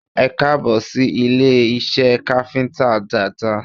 Ẹkáàbọ̀ sí ilé iṣẹ́ káfíntà Dada